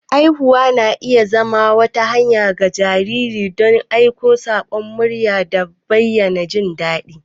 Ihuwa na iya zama wata hanya ga jarirai don aika sakon murya da bayyana jin daɗi.